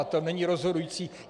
A to není rozhodující.